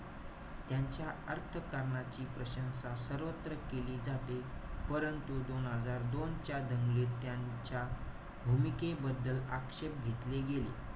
त्यांच्या अर्थकारणाची प्रशंसा सर्वत्र केली जाते. परंतु, दोन हजार दोनच्या, दंगलीत त्यांच्या भूमिकेबद्दल आक्षेप घेतले गेले.